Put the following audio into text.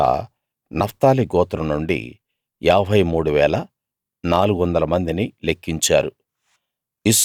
అలా నఫ్తాలి గోత్రం నుండి 53 400 మందిని లెక్కించారు